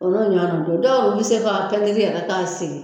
O dɔw yɛrɛ bɛ se k'a pɛntiri k'a sigi